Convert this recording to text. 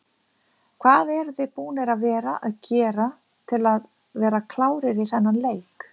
Hvað eruð þið búnir að vera að gera til að vera klárir í þennan leik?